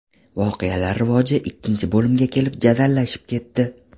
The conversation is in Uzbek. Voqealar rivoji ikkinchi bo‘limga kelib jadallashib ketdi.